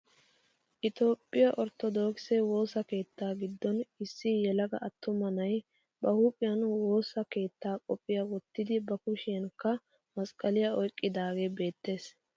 Itoophphiyaa orttodookisse woossa keettaa giddon issi yelaga attuma na'ay ba huuphphiyaa woossa keettaa qophiyaa wottidi ba kushiyanikka masqqaliyaa oyqqidage beettees.